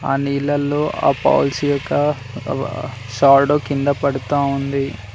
ఆ నీళ్లలో ఆ భవిష్యక షాడో కింద పడతా ఉంది.